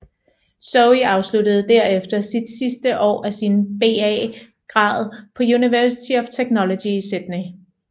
Zoe afsluttede derefter sit sidste år af sin BA grad på University of Technology i Sydney